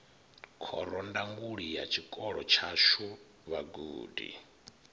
khorondanguli ya tshikolo tshashu vhagudi